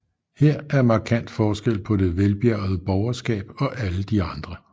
Her er markant forskel på det velbjærgede borgerskab og alle de andre